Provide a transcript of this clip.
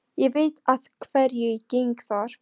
Ég veit að hverju ég geng þar.